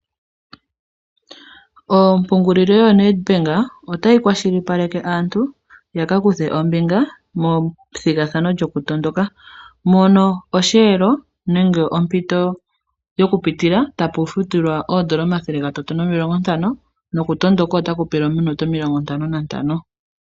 Ompungulilo yoNedBank otayi kwashilipaleke aantu ya kakuthe ombinga methigathano lyokutondoka mono osheelo nenge ompito yokupitilwa tapu futilwa oodola omathele gatatu nomilongontano nokutondoka otaku pelwa ominute omilongo ntano nantano.